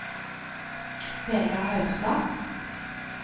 Vegar Haugstad